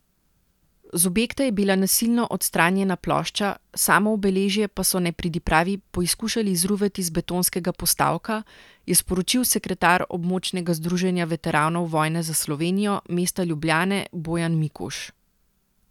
Z objekta je bila nasilno odstranjena plošča, samo obeležje pa so nepridipravi poizkušali izruvati z betonskega postavka, je sporočil sekretar Območnega združenja veteranov vojne za Slovenijo mesta Ljubljane Bojan Mikuš.